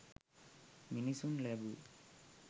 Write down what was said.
මිනිසුන් ලැබූ